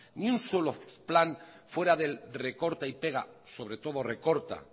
ni un solo plan fuera del recorta y pega sobre todo recorta